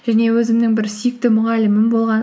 және өзімнің бір сүйікті мұғалімім болған